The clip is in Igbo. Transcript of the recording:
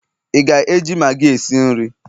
ị ga-eji maggi esi nri?